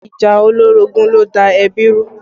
Ìjà olórogún ló da da ẹbí rú